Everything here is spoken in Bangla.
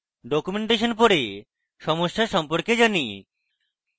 documentation পরে সমস্যা সম্পর্কে জানি